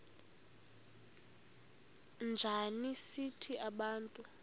njana sithi bantu